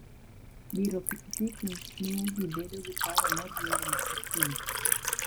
Diro pikipiki miyo ji bedo gi paro mar riembo maok hinygi.